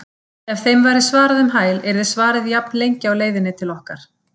Ef þeim væri svarað um hæl yrði svarið jafnlengi á leiðinni til okkar.